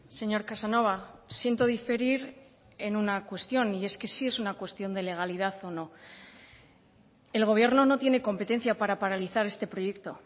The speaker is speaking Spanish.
señor casanova siento diferir en una cuestión y es que sí es una cuestión de legalidad o no el gobierno no tiene competencia para paralizar este proyecto